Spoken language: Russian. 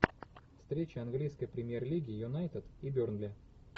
встреча английской премьер лиги юнайтед и бернли